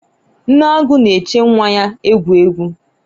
nne agu na-eche nwa ya egwu egwu